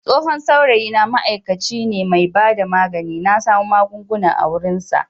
Tsohon saurayina ma'aikaci mai bada magani ne na samo magungunan a wurinsa.